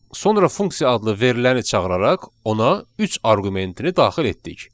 Sonra funksiya adlı veriləni çağıraraq ona üç arqumentini daxil etdik.